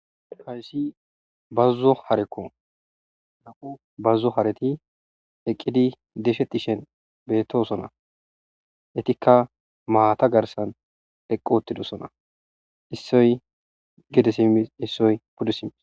Kayssi bazzo harekko na'u bazzo hareti eqqidi desheti shen beetosona etikka maata garsan eqqoottidosona issoy gede si issoy puddesims.